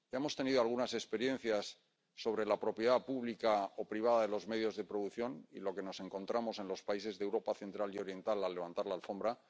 Ya hemos tenido algunas experiencias sobre la propiedad pública o privada de los medios de producción, y lo que nos encontramos en los países de Europa Central y Oriental al levantar la alfombra.